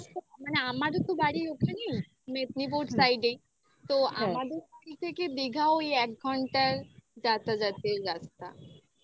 এক ঘন্টা just মানে আমারও তো বাড়ি ওখানেই. মেদিনীপুর side ই. তো আমাদের বাড়ি থেকে দীঘাও ওই এক ঘন্টার যাতাযাতের রাস্তা